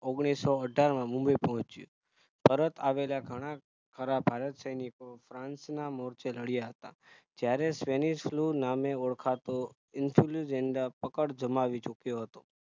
ઓગણીસો અઠાર માં મુંબઈ પહોંચ્યું પરત આવેલા ઘણા ખરા ભારત સૈનિકો France ના મોરચે લડ્યા હોતા Spanish flu નામે ઓળખાતો influenza પકડ જમાવી ચુક્યો હતો